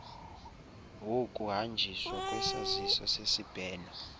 wokuhanjiswa kwesaziso sesibheno